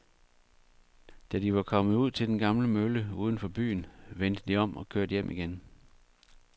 Da de var kommet ud til den gamle mølle uden for byen, vendte de om og kørte hjem igen.